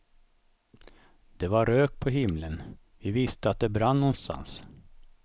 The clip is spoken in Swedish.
Det var rök på himlen, vi visste att det brann någonstans.